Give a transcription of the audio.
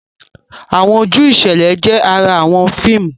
Awọn oju iṣẹlẹ jẹ àrà awọn fíìmù.